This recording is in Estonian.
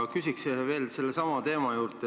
Ma küsiks veel sellesama teema kohta.